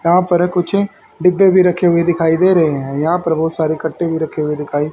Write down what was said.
यहां पर कुछ डिब्बे भी रखे हुए दिखाई दे रहे हैं यहां पर बहुत सारे कट्टे भी रखे हुए दिखाई --